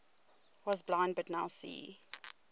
was blind but now see